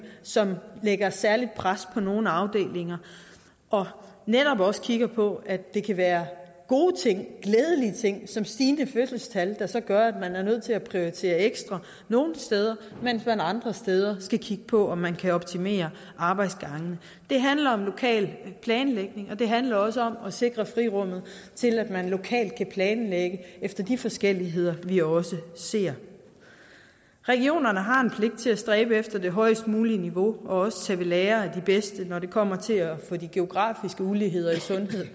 som lægger særligt pres på nogle afdelinger og netop også kigger på at det kan være gode ting glædelige ting som stigende fødselstal der så gør at man er nødt til at prioritere ekstra nogle steder mens man andre steder skal kigge på om man kan optimere arbejdsgangene det handler om lokal planlægning og det handler også om at sikre frirummet til at man lokalt kan planlægge efter de forskelligheder vi også ser regionerne har en pligt til at stræbe efter det højst mulige niveau og også tage ved lære af de bedste når det kommer til at komme de geografiske uligheder i sundhed